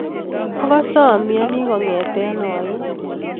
akase amiani kongete aiin